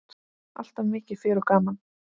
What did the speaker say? Alltaf mikið fjör og gaman.